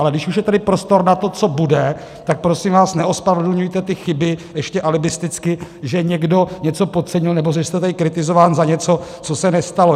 Ale když už je tady prostor na to, co bude, tak prosím vás neospravedlňujte ty chyby ještě alibisticky, že někdo něco podcenil, nebo že jste tady kritizován za něco, co se nestalo.